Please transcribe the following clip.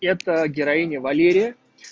это героиня валерия